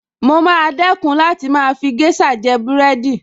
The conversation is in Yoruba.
Mo maa dẹ́kun láti máa fi géṣà jẹ búrẹ́dì